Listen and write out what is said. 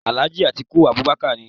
Alhaji Atiku Abubakar ni.